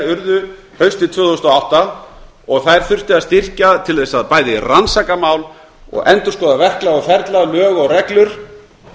urðu haustið tvö þúsund og átta þær þurfti að styrkja til þess bæði að rannsaka mál og endurskoða verklag og ferla lög og reglur